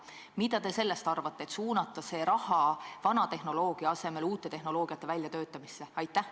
Mida te sellest arvate, kui suunata see raha vana tehnoloogia toetamise asemel uute tehnoloogiate väljatöötamisse?